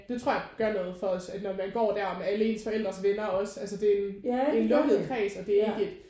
Det tror jeg gør noget for os at når man går der med alle ens forældres venner også altså det er en lukket kreds og det er ikke